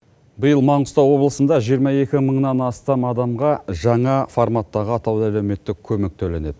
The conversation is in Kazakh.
биыл маңғыстау облысында жиырма екі мыңнан астам адамға жаңа форматтағы атаулы әлеуметтік көмек төленеді